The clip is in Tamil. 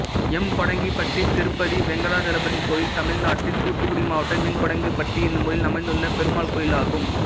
எம்கோடாங்கிப்பட்டி திருப்பதி வெங்கடாசலபதி கோயில் தமிழ்நாட்டில் தூத்துக்குடி மாவட்டம் எம்கோடாங்கிப்பட்டி என்னும் ஊரில் அமைந்துள்ள பெருமாள் கோயிலாகும்